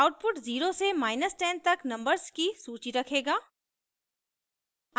output 0 से 10 तक numbers की सूची रखेगा